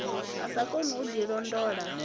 a sa koni u ḓilondota